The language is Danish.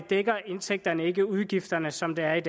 dækker indtægterne ikke udgifterne som det er i